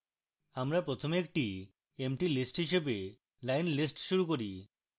আমরা প্রথমে একটি emptylist হিসাবে line _ list শুরু করি